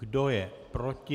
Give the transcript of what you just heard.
Kdo je proti?